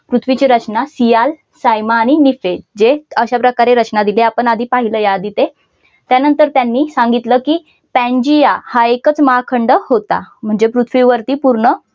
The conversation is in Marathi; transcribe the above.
पृथ्वीची रचना सियाल सायमा आणि निकेल जे अश्या प्रकारे रचना दिली आपण आधी पहिलय या आधी ते त्यानंतर त्यांनी सांगितलं कि पांजिया हा एकच महाखंड होता म्हणजे पृथ्वीवरती पूर्ण